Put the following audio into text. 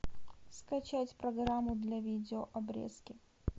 скачать программу для видео обрезки